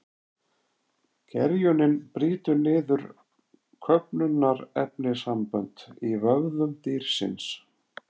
Gerjunin brýtur niður köfnunarefnissambönd í vöðvum dýrsins.